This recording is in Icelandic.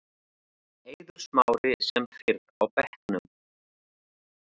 Eiður Smári sem fyrr á bekknum